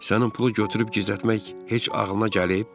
Sənin pulu götürüb gizlətmək heç ağılına gəlib?